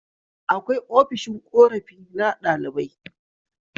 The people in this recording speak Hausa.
Akwai ofishin korafi na ɗalibai